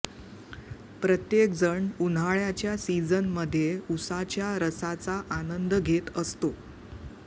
प्रत्येक जण उन्हाळ्याच्या सिजन मध्ये उसाच्या रसाचा आनंद घेत असतो